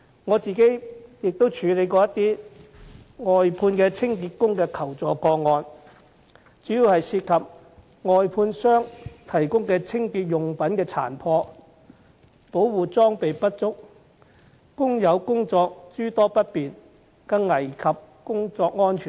我亦曾處理一些外判清潔工的求助個案，主要涉及外判商提供的清潔用具殘破、保護裝備不足，令工友的工作諸多不便，更危及工作安全。